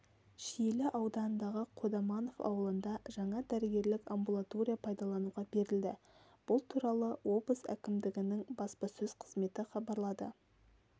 шиелі ауданындағы қодаманов ауылында жаңа дәрігерлік амбулатория пайдалануға берілді бұл туралы облыс әкімдігінің баспасөз қызметі хабарлады